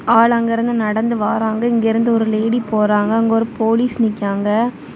ஆள் அங்க இருந்து நடந்து வாராங்க இங்க இருந்து ஒரு லேடி போறாங்க அங்க ஒரு போலீஸ் நிக்காங்க.